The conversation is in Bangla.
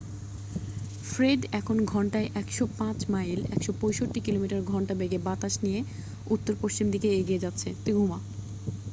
ফ্রেড এখন ঘন্টায় 105 মাইল 165 কিমি/ঘন্টা বেগে বাতাস নিয়ে উত্তর-পশ্চিম দিকে এগিয়ে যাচ্ছে।